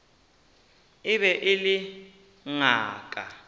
e be e le ngaka